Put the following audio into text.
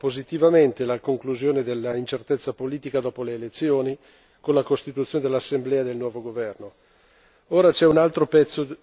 e non c'è dubbio che abbiamo valutato positivamente la conclusione dell'incertezza politica dopo le elezioni, con la costituzione dell'assemblea e del nuovo governo.